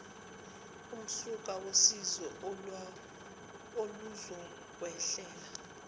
umsuka wosizi oluzokwehlela